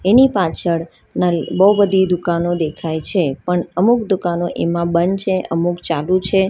ની પાછળ બહુ બધી દુકાનો દેખાય છે પણ અમુક દુકાનો એમાં બંધ અમુક ચાલુ છે.